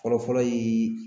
Fɔlɔ-fɔlɔ ye